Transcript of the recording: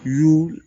Y'u